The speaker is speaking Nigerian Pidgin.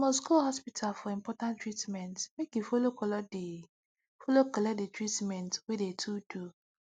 you must go hospital for important treatment make you follow collect de follow collect de treatmentt wey de to do